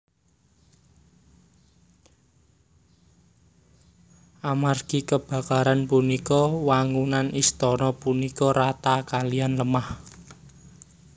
Amargi kabakaran punika wangunan istana punika rata kaliyan lemah